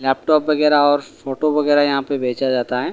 Laptop वगैराह और photo वगैराह यहाँ पे बेचा जाता हैं।